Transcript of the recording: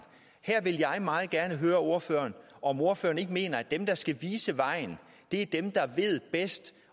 her vil jeg meget gerne høre ordføreren om ikke ordføreren mener at de der skal vise vejen er dem der ved bedst